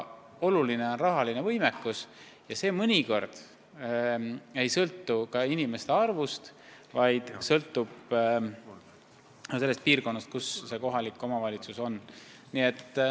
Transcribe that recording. Oluline on rahaline võimekus, mis mõnikord ei sõltu niivõrd elanike arvust, kuivõrd piirkonnast, kus konkreetne kohalik omavalitsus on.